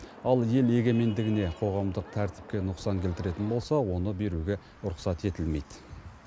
ал ел егемендігіне қоғамдық тәртіпке нұқсан келтіретін болса оны беруге рұқсат етілмейді